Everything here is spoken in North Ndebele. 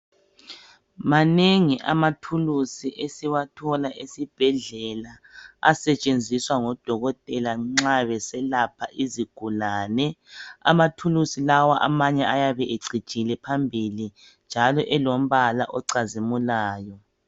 Manengi amathuluzi esiwathola ezibhedlela asetshenziswa ngodokotela nxa beselapha izigulane . Amathuluzi lawa amanye ayabe ecijile phambili njalo elombala ocazimulayo.